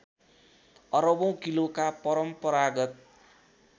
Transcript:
अरबौँ किलोका परम्परागत